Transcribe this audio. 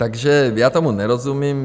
Takže já tomu nerozumím.